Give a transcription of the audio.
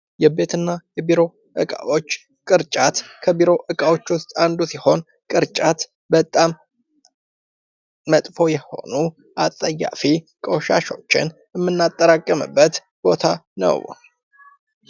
የቤት እና የቢሮ እቃወች ቅርጫት ከቢሮ እቃወች ውስጥ አንዱ ሲሆን ቅርጫት ባጣም መጥፎ የሆኑ አጸያፊ ቆሻሾችን የምናጠራቅምበት ቦታ ነው።